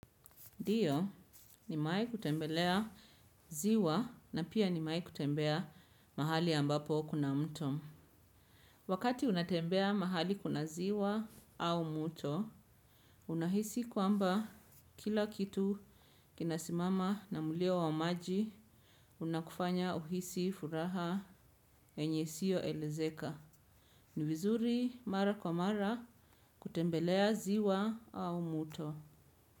Ndio nimewahi kutembelea ziwa na pia nimewahi kutembea mahali ambapo kuna mto. Wakati unatembea mahali kuna ziwa au mto, unahisi kwamba kila kitu kinasimama na mulio wa maji unakufanya uhisi furaha enye isiyo elezeka. Ni vizuri mara kwa mara kutembelea ziwa au mto.